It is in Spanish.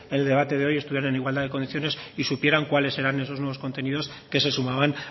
el debate de hoy estuvieran en igualdad de condiciones y supieran cuáles eran esos nuevos contenidos que se sumaban